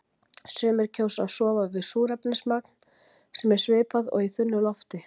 Sumir kjósa að sofa við súrefnismagn sem er svipað og í þunnu lofti.